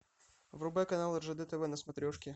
врубай канал ржд тв на смотрешке